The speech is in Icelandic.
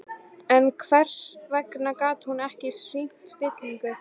En hvers vegna gat hún ekki sýnt stillingu?